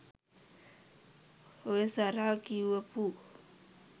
ඔය සරා කියපු